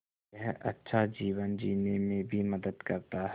यह अच्छा जीवन जीने में भी मदद करता है